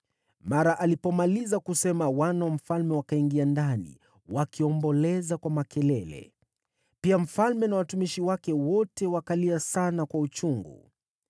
Mara alipomaliza kusema, wana wa mfalme wakaingia ndani wakiomboleza kwa makelele. Pia mfalme na watumishi wake wote wakalia sana kwa uchungu.